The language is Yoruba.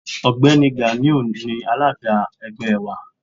Ọ̀gbẹ́ni Ganiu ni alága ẹgbẹ́ wa.